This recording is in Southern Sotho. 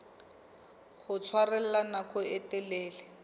ho tshwarella nako e telele